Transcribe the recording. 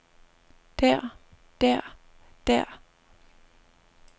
der der der